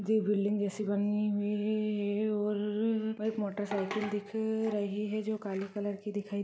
एक बिल्डिंग जैसी बनी हुई है और एक मोटरसाइकिल दिख रही है जो काले कलर की --